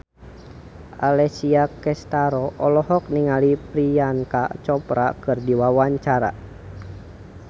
Alessia Cestaro olohok ningali Priyanka Chopra keur diwawancara